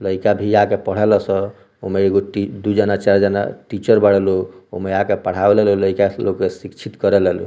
लइका भी आ के पढ़े ला स एमे एगो दुइ जना चार जना टीचर बड़ा लोग एमे आ के पढ़ाए ला लइका के शिक्षित करे ला लोग।